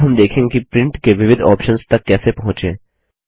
अब हम देखेंगे कि प्रिंट के विविध ऑप्शन्स तक कैसे पहुँचें